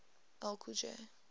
ll cool j